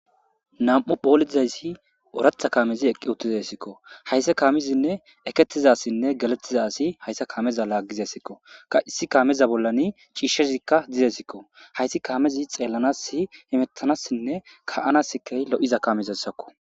nam7u poolizaysi oratha kaamezi eqqi uttizayssikko hayssa kaamizinne ekettizassinne galettiza asi hayssa kaameza laaggizesikko ka issi kaameza bollani chiishshezikka dizesikko hayssi kaamezi xeellanasi imettanassinne ka7anaskay lo7iza kamezasakko